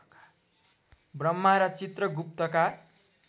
ब्रह्मा र चित्रगुप्तका